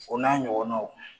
O n'a ɲɔgɔnnaw